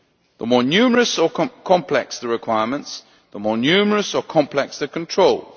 The more numerous or complex the requirements, the more numerous or complex the controls.